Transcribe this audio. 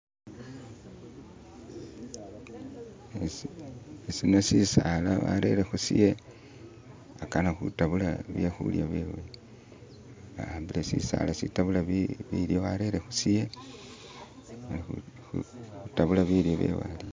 isino sisaala warereho siye akana hutabula byehulya byewe ahambile sisaala sitabula bilyo arere hushasewe hutabula bilyo byewe